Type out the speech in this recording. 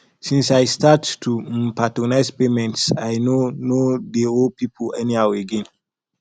since i start to um prioritize payments i no no dey owe pipo anyhow again